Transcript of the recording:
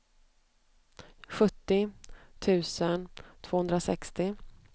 sjuttio tusen tvåhundrasextio